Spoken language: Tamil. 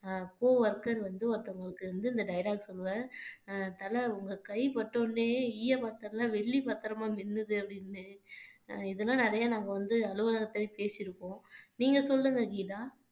அஹ் co worker வந்து ஒருத்தவங்களுக்கு வந்து இந்த dialogue சொல்லுவேன் தல உங்க கை பட்டவுடனே ஈய பாத்திரம் எல்லாம் வெள்ளி பத்திரமா மின்னுது அப்படின்னு இதெல்லாம் நிறைய நாங்க வந்து அலுவலகத்திலேயே பேசியிருக்கோம் நீங்க சொல்லுங்க கீதா